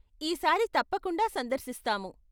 ఈ సారి తప్పకుండా సందర్శిస్తాము.